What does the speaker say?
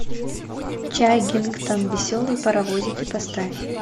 чаггингтон веселые паровозики поставь